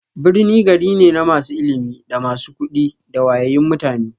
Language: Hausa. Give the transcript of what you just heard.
Birni gari ne na masu ilimi, da masu kuɗi da wayayyun mutane.